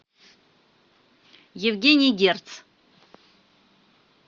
евгений герц